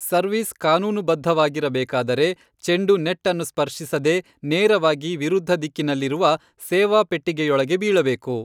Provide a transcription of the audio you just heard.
Service ಕಾನೂನುಬದ್ಧವಾಗಿರಬೇಕಾದರೆ, ಚೆಂಡು net ಅನ್ನು ಸ್ಪರ್ಶಿಸದೇ ನೇರವಾಗಿ ವಿರುದ್ಧ ದಿಕ್ಕಿನಲ್ಲಿರುವ ಸೇವಾ ಪೆಟ್ಟಿಗೆಯೊಳಗೆ ಬೀಳಬೇಕು.